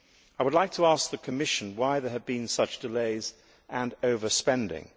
I would like to ask the Commission why there have been such delays and overspending.